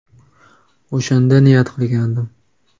– O‘shanda niyat qilgandim.